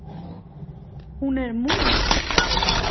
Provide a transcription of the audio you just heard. Hún er mús.